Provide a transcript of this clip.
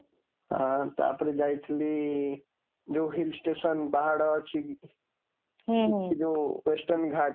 ଆଁ ତା ପରେ ଯାଇଥିଲି ଯୋଉ hill station, ପାହାଡ଼ ଅଛି, ହୁଁ ସେଠି ଯୋଉ western ଘାଟ